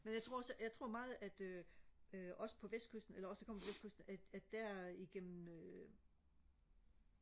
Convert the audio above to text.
men jeg tror også jeg tror meget at øh øh os på vestkysten eller os der kommer fra vestkysten at at der igennem øh